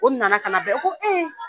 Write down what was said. O nana ka na na bɛn ko